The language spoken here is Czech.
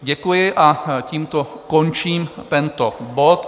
Děkuji a tímto končím tento bod.